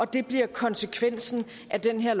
det bliver konsekvensen af den her